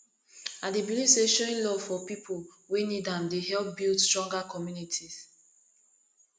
i dey believe say showing love for people wey need am dey help build stronger communities